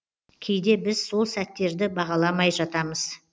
кейде біз сол сәттерді бағаламай жатамыз